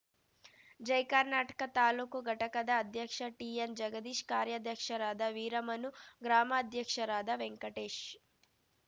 ಜಯ್ ಕರ್ನಾಟಕ ತಾಲೂಕು ಘಟಕದ ಅಧ್ಯಕ್ಷ ಟಿಎನ್‌ ಜಗದೀಶ್‌ ಕಾರ್ಯಾಧ್ಯಕ್ಷರಾದ ವೀರಮನು ಗ್ರಾಮಾಧ್ಯಕ್ಷರಾದ ವೆಂಕಟೇಶ್‌